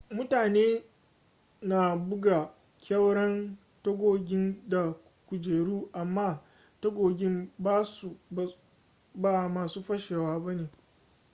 mutane na buga ƙyauren tagogin da kujeru amma tagogin ba masu fashewa ba ne